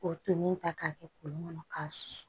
K'o tolen ta k'a kɛ kolon kɔnɔ k'a susu